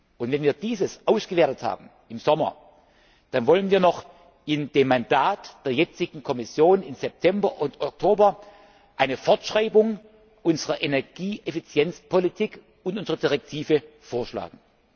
Und wenn wir das ausgewertet haben im Sommer, dann wollen wir noch in dem Mandat der jetzigen Kommission im September und Oktober eine Fortschreibung unserer Energieeffizienzpolitik und unsere Direktive vorschlagen.